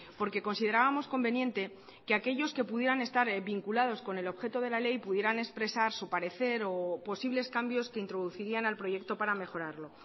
porque considerábamos conveniente que aquellos que pudieran estar vinculados con el objeto de la ley pudieran expresar su parecer o posibles cambios que introducirían al proyecto para mejorarlo